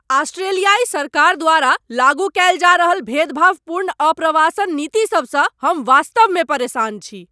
आस्ट्रेलियाइ सरकार द्वारा लागू कएल जा रहल भेदभावपूर्ण अप्रवासन नीतिसभसँ हम वास्तवमे परेशान छी।